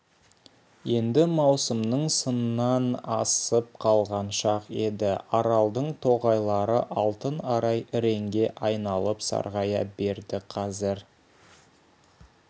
енді маусымның сынан асып қалған шақ еді аралдың тоғайлары алтын арай іреңге айналып сарғая берді қазір